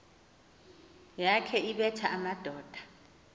yakhe ebetha amadoda